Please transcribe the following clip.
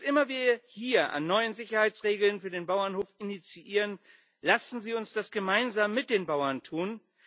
Was immer wir hier an neuen Sicherheitsregeln für den Bauernhof initiieren lassen Sie uns das gemeinsam mit den Bauern tun.